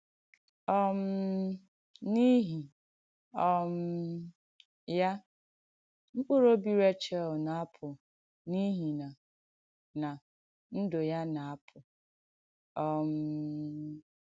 um N’ìhí um ya, mkpùrù òbì Réchel nà-àpụ̀ n’ìhí nà nà ndù́ ya nà-àpụ̀. um